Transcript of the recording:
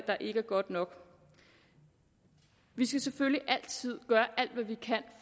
der ikke er godt nok vi skal selvfølgelig altid gøre alt hvad vi kan